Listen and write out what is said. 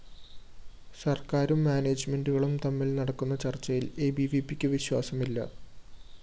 സര്‍ക്കാരും മാനേജ്‌മെന്റുകളും തമ്മില്‍ നടക്കുന്ന ചര്‍ച്ചയില്‍ എബിവിപിക്ക് വിശ്വാസമില്ല